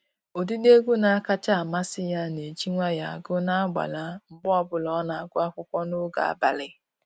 Ụdịdị egwu na-akacha amasị ya na-eji nwayọọ agụ n'agbala mgbe ọbụla ọ na-agụ akwụkwọ n'oge abalị